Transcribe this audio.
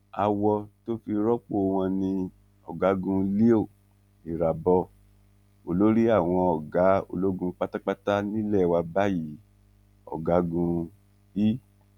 awọ tó fi rọpò wọn ni ọgágun leo irabor olórí àwọn ọgá ológun pátápátá nílé wa báyìí ọgágun i